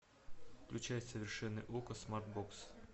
включай совершенный окко смартбокс